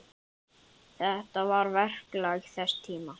Þetta var verklag þess tíma.